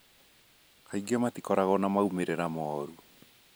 Kaingĩ matikoragwo na moimĩrĩro moru.